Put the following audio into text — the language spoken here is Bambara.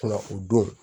Ka na o don